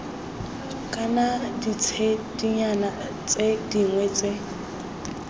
kana ditshedinyana tse dingwe tse